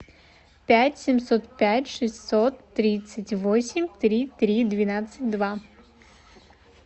пять семьсот пять шестьсот тридцать восемь три три двенадцать два